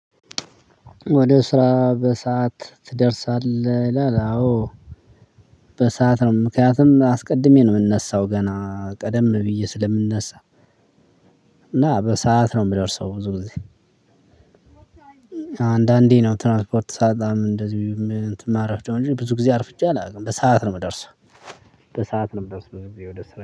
ወደ ስራ በሰአት ትደርሳለህ ይላል? አዎ በሰአት ነው ምክንያቱም አስቀድሜ ነው የምነሳው ገና ቀደም ብዬ ስለምነሳ። እና በሰአት ነው የምደርሰው ብዙ ጊዜ። አንዳንዴ ነው ትራንስፖርት ሳጣ እንደዚህ ማረፍደው እንጂ ብዙ ጊዜ አርፍጄ አላውቅም በሰአት ነው የምደርሰው። በሰአት ነው የምደርሰው ብዙ ጊዜ ወደ ስራ